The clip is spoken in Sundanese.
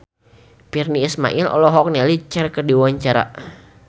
Virnie Ismail olohok ningali Cher keur diwawancara